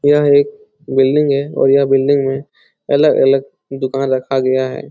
यह एक बिल्डिंग है और यह बिल्डिंग में अलग-अलग दूकान रखा गया है।